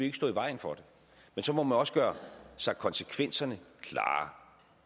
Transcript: ikke stå i vejen for det men så må man også gøre sig konsekvenserne klare